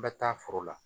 N bɛ taa foro la